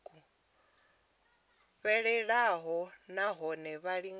fhelelaho na hone vha lingane